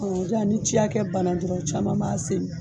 O de la ni ciya kɛ bana dɔrɔn caman b'a senu